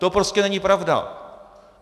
To prostě není pravda!